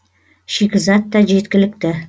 шикізат та жеткілікті